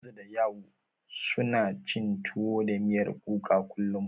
Hamza da Ya'u, suna cin tuwo da miyar kuka kullum.